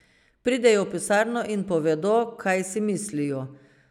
Pridejo v pisarno in povedo, kaj si mislijo.